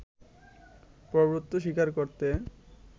প্রভূত্ব স্বীকার করতে